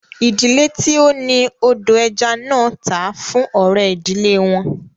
Ìdílé tí ó ni odò ẹja náà tà á fún ọ̀rẹ́ ìdílé wọn